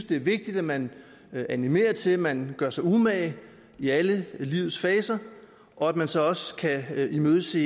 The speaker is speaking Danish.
det er vigtigt at man animerer til at man gør sig umage i alle livets faser og at man så også kan imødese